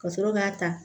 Ka sɔrɔ k'a ta